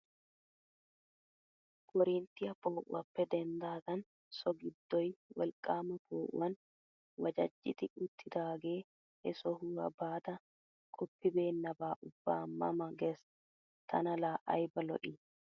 Korinttiyaa po"uwaappe denddidagan so giddoy wolqqaama po"uwaan wajjajidi uttidagee he sohuwaa baada qoppibenaaba ubba ma ma ges tana laa ayba lo"ii!